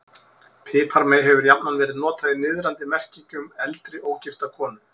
Piparmey hefur jafnan verið notað í niðrandi merkingu um eldri, ógifta konu.